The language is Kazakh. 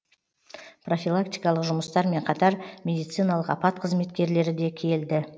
профилактикалық жұмыстармен қатар медициналық апат қызметкерлері де келді